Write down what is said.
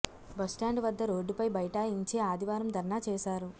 bus stand వద్ద రోడ్డుపై బైఠా యించి ఆదివారం ధర్నా చేశారు